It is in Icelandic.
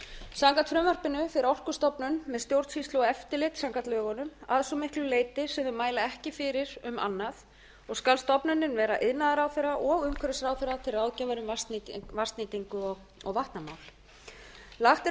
samkvæmt frumvarpinu fer orkustofnun með stjórnsýslu og eftir samkvæmt lögunum að svo miklu leyti sem þau mæla ekki fyrir um annað og skal stofnunin vera iðnaðarráðherra og umhverfisráðherra til ráðgjafar um vatnsnýtingu og vatnamál lagt er